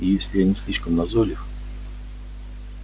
если я не слишком назойлив